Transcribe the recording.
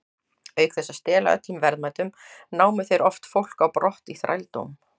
Auk þess að stela öllum verðmætum, námu þeir oft fólk á brott í þrældóm.